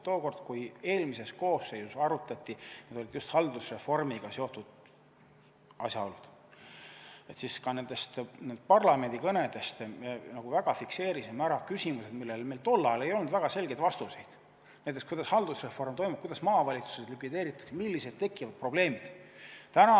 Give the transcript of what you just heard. Tookord, kui eelmises koosseisus arutati just haldusreformiga seotud asjaolusid, siis ka nendes parlamendikõnedes me fikseerisime ära küsimused, millele meil tol ajal ei olnud väga selgeid vastuseid, näiteks kuidas haldusreform toimub, kuidas maavalitsused likvideeritakse, millised probleemid tekivad.